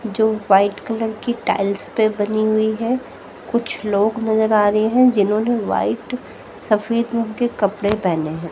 जो white colour की tiles पे बनी हुई है कुछ लोग नजर आ रहे है जिन्होंने व्हाइट सफेद रंग के कपड़े पहने है।